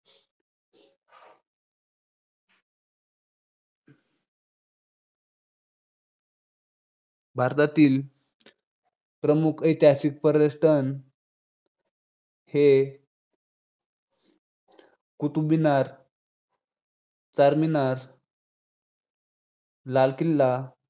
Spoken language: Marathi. भारतातील प्रमुख ऐतिहासिक आणि पर्यटन स्थळांपैकी. हे कुतुब मिनार चारमिनार लाल किल्ला